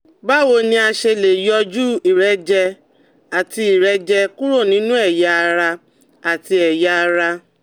Báwo ni a ṣe lè yọjú ìrẹ́jẹ àti ìrẹ́jẹ kúrò nínú ẹ̀yà ara àti ẹ̀yà ara?